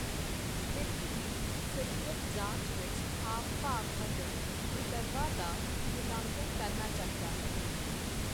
ਪਿੱਠ ਦੀ ਸਰੀਰਕ ਜਾਂਚ ਵਿੱਚ ਹਾਵ ਭਾਵ ਅਤੇ ਵਿਕਰਵਾਂ ਦਾ ਮੁੱਲਾਂਕਣ ਕਰਨਾ ਚਾਹੀਦਾ ਹੈ।